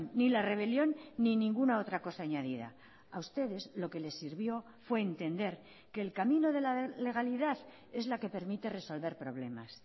ni la rebelión ni ninguna otra cosa añadida a ustedes lo que les sirvió fue entender que el camino de la legalidad es la que permite resolver problemas